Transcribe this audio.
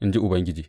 in ji Ubangiji.